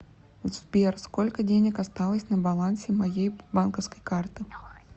сбер сколько денег осталось на балансе моей банковской карты